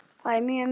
Það er mjög miður.